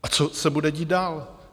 A co se bude dít dál?